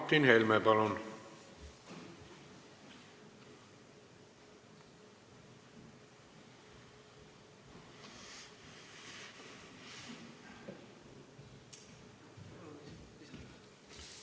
Martin Helme, palun!